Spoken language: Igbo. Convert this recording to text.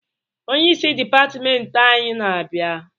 Onyeisi dịpatịmentị anyị ana-abịa?